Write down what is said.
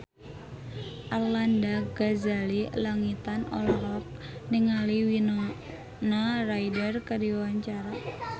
Arlanda Ghazali Langitan olohok ningali Winona Ryder keur diwawancara